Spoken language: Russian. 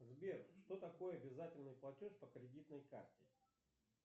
сбер что такое обязательный платеж по кредитной карте